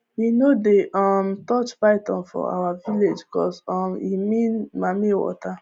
we no dey um touch python for our village coz um e mean mamiwater